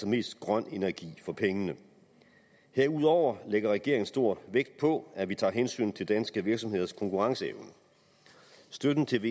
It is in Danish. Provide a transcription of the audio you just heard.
mest grøn energi for pengene herudover lægger regeringen stor vægt på at vi tager hensyn til danske virksomheders konkurrenceevne støtten til